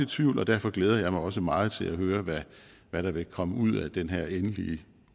tvivl og derfor glæder jeg mig også meget til at høre hvad der vil komme ud af den her endelige